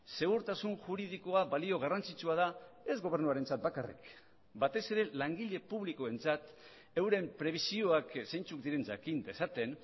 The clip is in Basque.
segurtasun juridikoa balio garrantzitsua da ez gobernuarentzat bakarrik batez ere langile publikoentzat euren prebisioak zeintzuk diren jakin dezaten